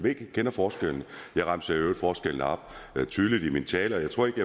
forskelle forskelle og